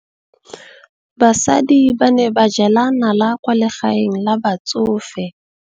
Basadi ba ne ba jela nala kwaa legaeng la batsofe.